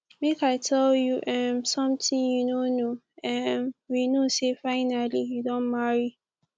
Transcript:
make i tell you um something you no know um we know say finally you don marry